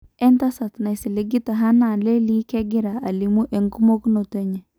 Entasat naisiligitae Hannah Lelii kegiraa alimu emokunoto enye.